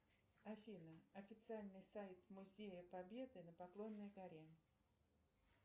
афина официальный сайт музея победы на поклонной горе